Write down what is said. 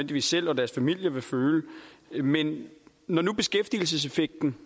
de selv og deres familier nødvendigvis vil føle men når nu beskæftigelseseffekten